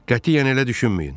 Qətiyyən elə düşünməyin.